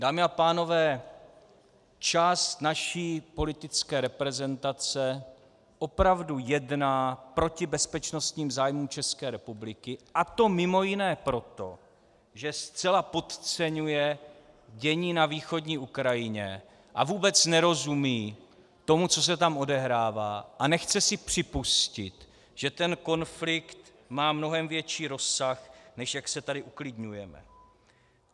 Dámy a pánové, část naší politické reprezentace opravdu jedná proti bezpečnostním zájmům České republiky, a to mimo jiné proto, že zcela podceňuje dění na východní Ukrajině a vůbec nerozumí tomu, co se tam odehrává, a nechce si připustit, že ten konflikt má mnohem větší rozsah, než jak se tady uklidňujeme.